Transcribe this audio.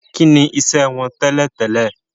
Kí ni iṣẹ́ wọn tẹ́lẹ̀ tẹ́lẹ̀?